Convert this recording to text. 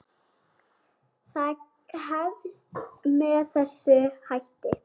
Það hefst með þessum hætti: